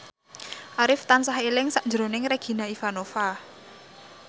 Arif tansah eling sakjroning Regina Ivanova